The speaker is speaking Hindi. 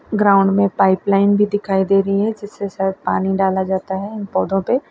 ग्राउंड में पाइपलाइन भी दिखाई दे रही है जिससे शायद पानी डाला जाता है इन पौधों पे।